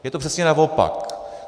Je to přesně naopak.